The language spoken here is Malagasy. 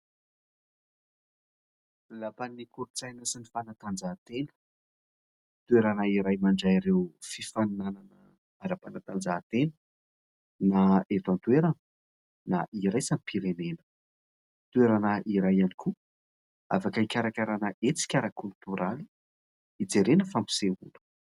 Lapan'ny kolo-tsaina sy ny fanantanjahatena. Toerana iray mandray ireo fifaninanana ara-panantanjahatena, na eto an-toerana na iraisam-pirenena. Toerana iray ihany koa afaka hikarakarahana hetsika ara-kolotoraly, hijerena fampisehoana.